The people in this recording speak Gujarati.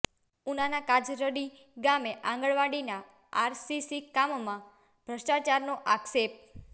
ઉનાના કાજરડી ગામે આંગણવાડીના આરસીસી કામમાં ભ્રષ્ટાચારનો આક્ષેપ